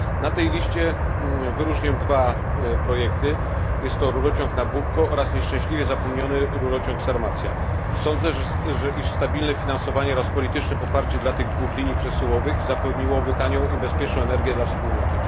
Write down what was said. Na tej liście wyróżnię dwa projekty jest to rurociąg Nabucco oraz nieszczęśliwie zapomniany rurociąg Sarmacja. Sądzę, że stabilne finansowanie oraz polityczne poparcie dla tych dwóch linii przesyłowych zapewniłoby tanią i bezpieczną energię dla Wspólnoty.